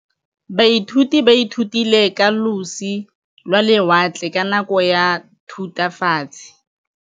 Baithuti ba ithutile ka losi lwa lewatle ka nako ya Thutafatshe.